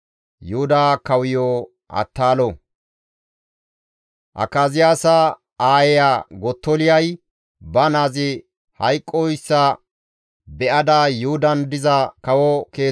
Akaziyaasa aayeya Gottoliyay ba naazi hayqqoyssa be7ada Yuhudan diza kawo keeththa asata ubbaa wodhadus.